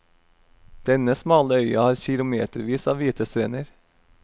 Denne smale øya har kilometervis av hvite strender.